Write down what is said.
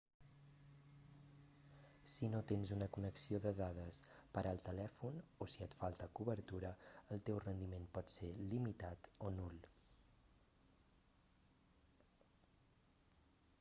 si no tens una connexió de dades per al telèfon o si et falta cobertura el teu rendiment pot ser limitat o nul